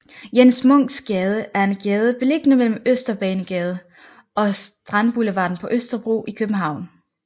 Jens Munks Gade er en gade beliggende mellem Østbanegade og Strandboulevarden på Østerbro i København